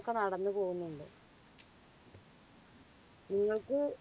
ഒക്കെ നടന്നു പോകുന്നുണ്ട്. നിങ്ങൾക്ക്